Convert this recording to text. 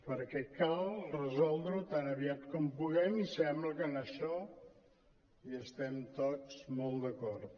perquè cal resol·dre·ho tan aviat com puguem i sembla que en això hi estem tots molt d’acord